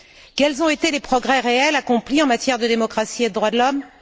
Quels ont été les progrès réels accomplis en matière de démocratie et de droits de l'homme?